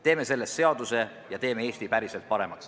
Teeme sellest seaduse ja teeme Eesti päriselt paremaks.